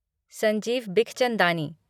Sanjeev Bikhchandani